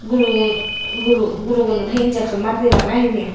gurugun guru gurugunorey he injection mari dibak nahi hijeni.